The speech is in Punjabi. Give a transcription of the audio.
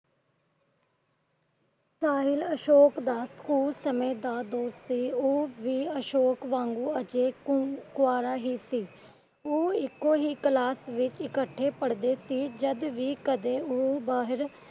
ਅਸ਼ੋਕ ਦਾ School ਸਮੇ ਦਾ ਦੋਸਤ ਸੀ। ਉਹ ਵੀ ਅਸ਼ੋਕ ਵਾਂਗੂ ਅਜੇ ਕੁਆਰਾ ਹੀ ਸੀ। ਉਹ ਇੱਕੋ ਹੀ Class ਵਿਚ ਇੱਕਠੇ ਪੜ੍ਹਦੇ ਸੀ। ਜਦ ਵੀ ਕਦੇ ਉਹ ਬਾਹਰ